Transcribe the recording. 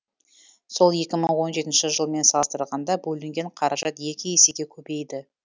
сол екі мың он жетінші жылмен салыстырғанда бөлінген қаражат екі есеге көбейді